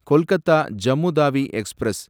Kolkata Jammu Tawi express